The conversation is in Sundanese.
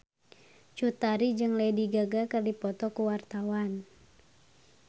Cut Tari jeung Lady Gaga keur dipoto ku wartawan